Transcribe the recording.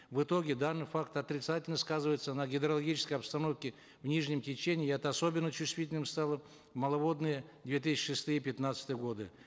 в итоге данный факт отрицательно сказывается на гидрологической обстановке в нижнем течении и это особенно чувствительным стало в маловодные две тысячи шестые пятнадцатые годы